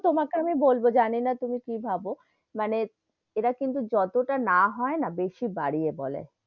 তোমাকে আমি বলবো জানি না তুমি কি ভাবো, মানে এরা কিন্তু যতোটা না হয় না বেশি বাড়িয়ে বলে,